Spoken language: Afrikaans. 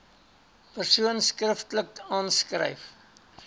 persoon skriftelik aanskryf